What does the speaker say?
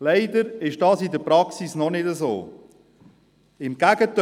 Leider ist das in der Praxis noch nicht der Fall, im Gegenteil: